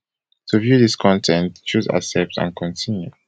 to to view dis con ten t choose accept and continue